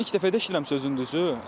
İlk dəfə də eşitdiyirəm sözün düzü.